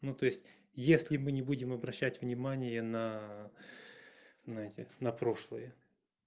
ну то есть если мы не будем обращать внимание на эти на прошлые